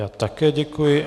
Já také děkuji.